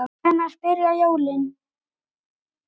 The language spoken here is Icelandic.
Hvenær byrja jólin?